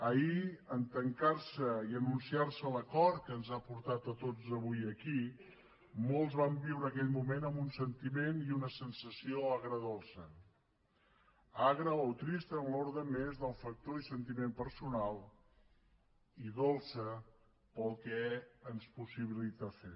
ahir en tancar se i anunciar se l’acord que ens ha portat a tots avui aquí molts van viure aquell moment amb un sentiment i una sensació agredolça agra o trista en l’ordre més del factor i sentiment personal i dolça pel que ens possibilita fer